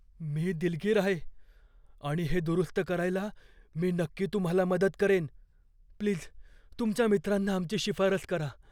मी दिलगीर आहे आणि हे दुरुस्त करायला मी नक्की तुम्हाला मदत करेन. प्लीज तुमच्या मित्रांना आमची शिफारस करा.